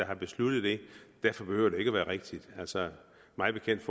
har besluttet det derfor behøver det ikke være rigtigt mig bekendt